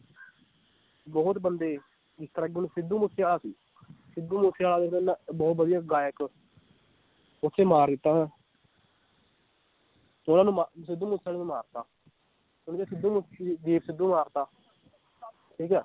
ਬਹੁਤ ਬੰਦੇ ਜਿਸ ਤਰਾਂ ਕਿ ਹੁਣ ਸਿੱਧੂ ਮੂਸੇਵਾਲਾ ਸੀ ਸਿੱਧੂ ਮੂਸੇਵਾਲਾ ਵੀ ਪਹਿਲਾਂ ਵਧੀਆ ਗਾਇਕ ਓਥੇ ਮਾਰ ਦਿੱਤਾ ਉਹਨਾਂ ਨੂੰ ਮਾ~ ਸਿੱਧੂ ਮੂਸੇਵਾਲੇ ਨੂੰ ਮਾਰਤਾ ਹੁਣ ਜੇ ਸਿੱਧੂ ਮੂਸ~ ਦੀਪ ਸਿੱਧੂ ਮਾਰਤਾ ਠੀਕ ਹੈ।